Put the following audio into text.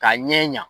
Ka ɲɛ